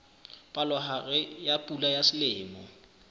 palohare ya pula ya selemo